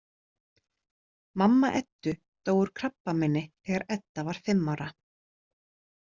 Mamma Eddu dó úr krabbameini þegar Edda var fimm ára.